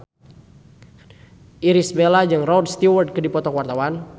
Irish Bella jeung Rod Stewart keur dipoto ku wartawan